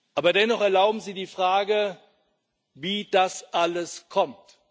Aber dennoch Erlauben Sie die Frage, wie das alles kommt.